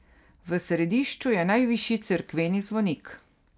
V središču je najvišji cerkveni zvonik.